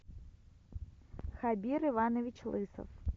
хабир иванович лысов